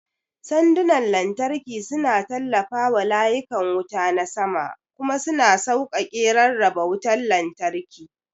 Sandunan lantarki suna tallafawa layukan wuta na sama kuma suna sauƙaƙe rarraba wutar lantarki.